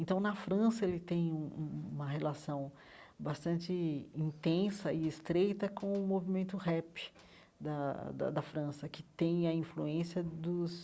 Então, na França, ele tem um um uma relação bastante intensa e estreita com o movimento rap da da da França, que tem a influência dos